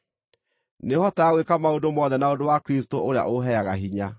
Nĩhotaga gwĩka maũndũ mothe na ũndũ wa Kristũ ũrĩa ũheaga hinya.